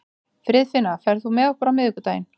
Friðfinna, ferð þú með okkur á miðvikudaginn?